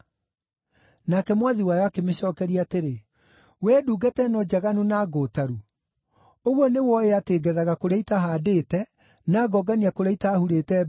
“Nake mwathi wayo akĩmĩcookeria atĩrĩ, ‘Wee ndungata ĩno njaganu na ngũũtaru! Ũguo nĩ wooĩ atĩ ngethaga kũrĩa itahaandĩte, na ngongania kũrĩa itaahurĩte mbeũ?